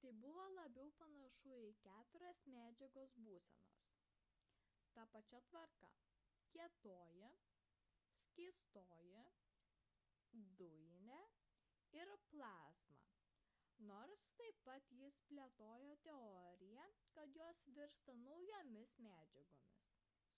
tai buvo labiau panašu į keturias medžiagos būsenas ta pačia tvarka: kietoji skystoji dujinė ir plazma nors taip pat jis plėtojo teoriją kad jos virsta naujomis medžiagomis